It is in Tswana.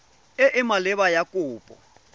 e e maleba ya kopo